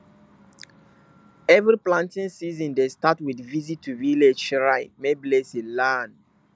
every planting season dey start with visit to village shrine make blessing land